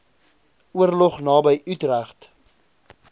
oorlog naby utrecht